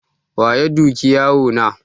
Waya duki yaro na?